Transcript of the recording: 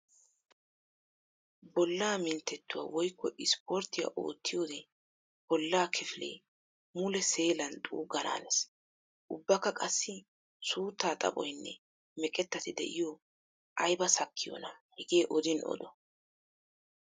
Bolla minttetuwa woykko ispporttiya oottiyodde bolla kifile mule seellan xuugana hanees! Ubbakka qassi suutta xaphphoynne meqetatti de'iyo aybba sakkiyoona hegee oddin oddo!